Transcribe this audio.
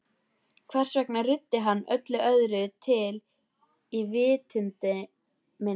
Hvers vegna ruddi hann öllu öðru til í vitund minni?